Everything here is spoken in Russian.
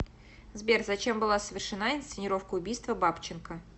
сбер зачем была совершена инсценировка убийства бабченко